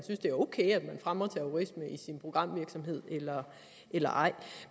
fremmer terrorisme i sin programvirksomhed eller ej